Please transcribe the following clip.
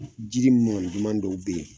Jiri duman dɔw be yen